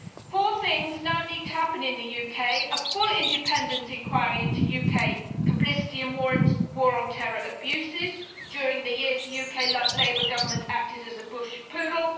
Four things now need to happen in the UK a full independent inquiry into UK complicity in war on terror abuses during the years the UK Labour Government acted as a Bush poodle